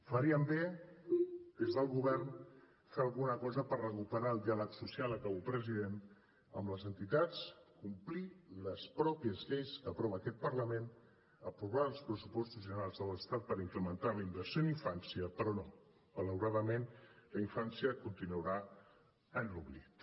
farien bé des del govern de fer alguna cosa per recuperar el diàleg social acabo president amb les entitats complir les mateixes lleis que aprova aquest parlament aprovar els pressupostos generals de l’estat per incrementar la inversió en infància però no malauradament la infància continuarà en l’oblit